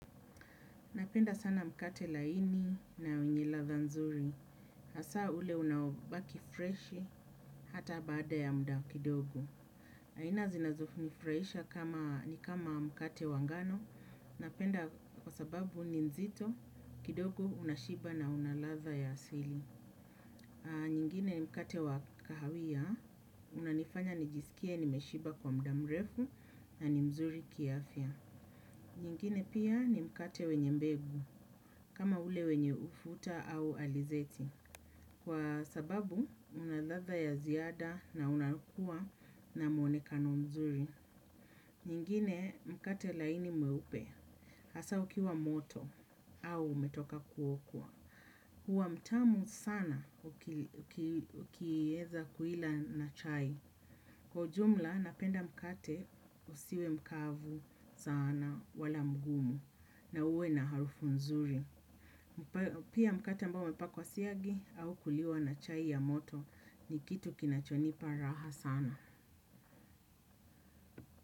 Napenda sana mkate laini na wenye latha nzuri. Hasa ule unaobaki freshi hata baada ya muda kidogo. Aina zinazo nifuraisha ni kama mkate wangano. Napenda kwa sababu ni nzito kidogo unashiba na unaladha ya asili. Nyingine mkate wakahawia unanifanya nijisikie nimeshiba kwa mdamrefu na ni mzuri kiafya. Nyingine pia ni mkate wenye mbegu. Kama ule wenye ufuta au alizeti kwa sababu, unaladha ya ziada na unakua na mwonekano mzuri. Nyingine, mkate laini mweupe hasa ukiwa moto au umetoka kuokwa huwa mtamu sana ukieza kuila na chai. Kwa ujumla, napenda mkate usiwe mkavu sana wala mgumu na uwe na harufu mzuri. Pia mkate ambao umepakwa siagi au kuliwa na chai ya moto ni kitu kinachonipa raha sana.